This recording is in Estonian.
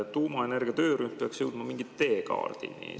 Tuumaenergia töörühm peaks jõudma mingi teekaardini.